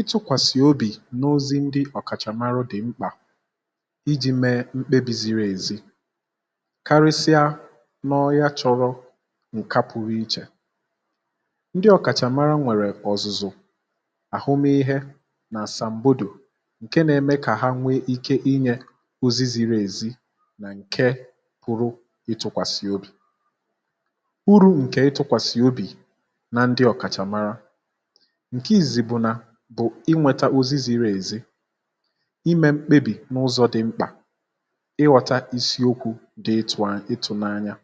ịtụkwàsị̀ obì n’ozi ndị ọ̀kàchàmara dị̀ mkpà iji̇ mee mkpebì ziri èzi karịsịa n’ọya chọ̇rọ̇ ǹka pụrụ ichè, ndị ọ̀kàchàmara nwèrè ọ̀zụ̀zụ̀ àhụmụihe nà àsàmbòdò ǹke nȧ-ẹmẹ kà ha nwee ike inyė ozi ziri èzi nà ǹke pụrụ ịtụ̇kwàsị̀ obì ụrụ ǹkè ịtụ̇kwàsị̀ obì na ndị ọ̀kàchàmara, nke izizi bụ̀ na bụ inwėtȧ ozi ziri ezi, imė mkpebì n’ụzọ̇ dị mkpà, ịghọ̇ta isiokwu̇ dị ịtụ̇nanya.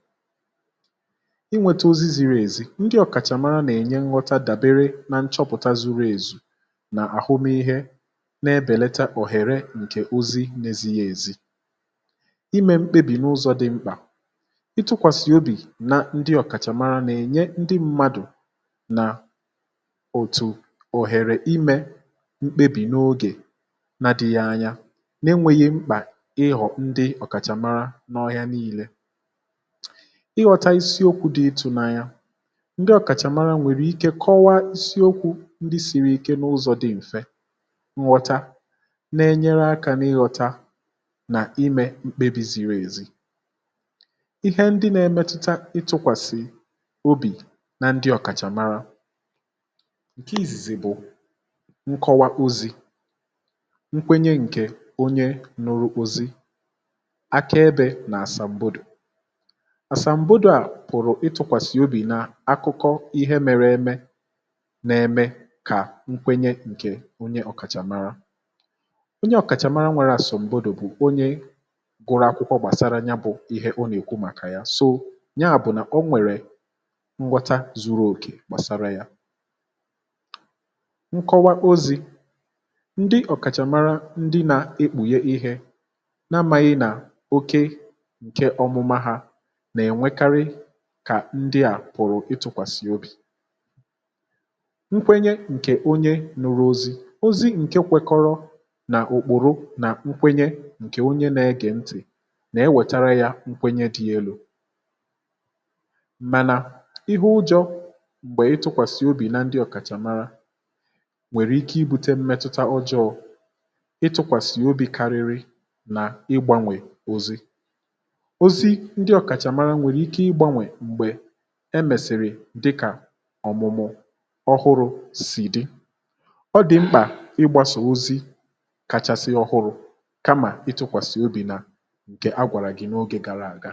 inwėtȧ ozi ziri ezi, ndị ọ̀kàchà mara nà-ènye nghọta dàbere na nchọpụ̀ta zuru èzù nà àhụmịhe na-ebèleta òhèrè ǹkè ozi n’ezighi èzi imė mkpebì n’ụzọ̇ dị mkpà, ịtụkwàsị̀ obì na ndị ọ̀kàchàmara na-ènye ndị mmadụ̀ na otu oghere ime mkpebì n’ogè na adị̇ghị̇ anya n’enwėghi̇ mkpà ịghọ̀ ndị ọ̀kàchàmara n’ọhịa niilė ịghọ̇tȧ isiokwu̇ dị ịtụ̇nanya ndị ọ̀kàchàmara nwèrè ike kọwaa isiokwu̇ ndị siri ike n’ụzọ̇ dị̀ m̀fe nghọtȧ na-enyere akȧ n’ịghọ̇tȧ nà imė mkpebi̇ ziri èzi, ihe ndị nȧ-emetuta ịtụ̇kwàsị̀ obì na ndị ọ̀kàchàmara, nke izizi bụ nkọwa ozi̇, nkwenye ǹkè onye ñụrụ ozi, akaebė na àsàmgbòdò. Asàmgbòdò à pụ̀rụ̀ ịtụkwàsị̀ obì n’akụkọ ihe mere eme na-eme kà nkwenye ǹkè onye ọ̀kàchàmara ,onye ọ̀kàchàmara nwere àsọ̀m̀bòdò bụ̀ onye gụrụ akwụkwọ gbàsara ya bụ̇ ihe ọ nà-èkwu màkà ya so ya bụ̀ nà ọ nwèrè nghọta zuru òkè gbàsara ya nkọwa ozi̇, ndị ọ̀kàchàmara ndị nà-ekpùghe ihė na-amȧghị̇ nà oke ǹke ọmụma hȧ nà-ènwekarị kà ndị à pụ̀rụ̀ itụ̇kwàsị̀ obì, nkwenye ǹkè onye ñụ̇rụ̇ ozi̇, ozi̇ ǹke kwekọrọ nà ùkpùrù nà nkwenye ǹkè onye nȧ-egè ntì nà-enwètara yȧ nkwenye dị̇ elu̇ mànà ihe ụjọ̇ m̀gbè ịtụkwàsị̀ obì na ndị ọ̀kàchàmara nwèrè ike ibu̇tė mmetụta ụjọ ịtụ̇kwàsì obi̇ karịrị nà ịgbȧnwè ozi. ozi ndị ọ̀kàchàmara nwèrè ike ịgbȧnwè m̀gbè emèsị̀rị̀ dịkà ọ̀mụmụ̀ ọhụrụ̇ sì dị, ọ dị̀ mkpà ịgbȧsa ozi kàchàsị ọhụrụ̇ kamà ịtụ̇kwàsị̀ obì nà ǹkè ha gwàrà gị̇ n’oge gara àga